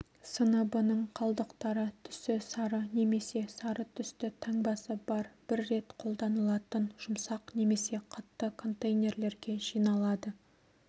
сыныбының қалдықтары түсі сары немесе сары түсті таңбасы бар бір рет қолданылатын жұмсақ немесе қатты контейнерлерге жиналады